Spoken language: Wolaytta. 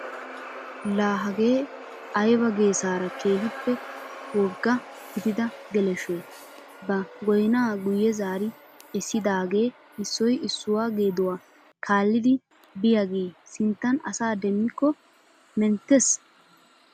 La hagee ayba geesaara keehippe woggaa gidida geleshoy ba goynaa guye zaari essidaage issoy issuwaa geduwaa kaalliidi biyaage sinttan asa demikko menttees!